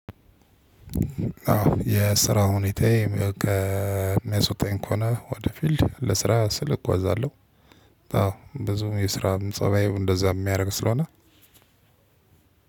አዎ የስራ ሁኔታዬ የሚያስወጣኝ ከሆነ ወደ ፊልድ ለስራ ስል እጓዛለሁ። አዎ ብዙም የስራ ፀባዬ እንደዛ የሚያደርግ ስለሆነ